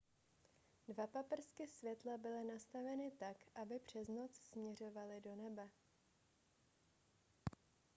dva paprsky světla byly nastaveny tak aby pře noc směřovaly do nebe